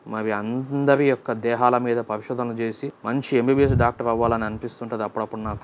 మావి అందరి యొక్క దేహాల మీద పరిశోదన చేసి మంచి ఎం_బి_బి_ఎస్ డాక్టర్ అవ్వాలని అని అనిపిస్తుంటది అప్పుడప్పుడు నాకు.